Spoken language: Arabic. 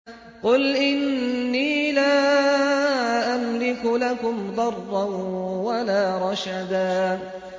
قُلْ إِنِّي لَا أَمْلِكُ لَكُمْ ضَرًّا وَلَا رَشَدًا